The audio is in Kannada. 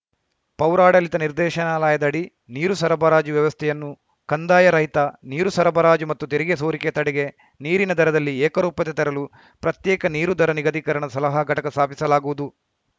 ಪೌರಾಡಳಿತ ನಿರ್ದೇಶನಾಲಯದಡಿ ನೀರು ಸರಬರಾಜು ವ್ಯವಸ್ಥೆಯನ್ನು ಕಂದಾಯರಹಿತ ನೀರು ಸರಬರಾಜು ಮತ್ತು ತೆರಿಗೆ ಸೋರಿಕೆ ತಡೆಗೆ ನೀರಿನ ದರದಲ್ಲಿ ಏಕರೂಪತೆ ತರಲು ಪ್ರತ್ಯೇಕ ನೀರು ದರ ನಿಗದೀಕರಣ ಸಲಹಾ ಘಟಕ ಸ್ಥಾಪಿಸಲಾಗುವುದು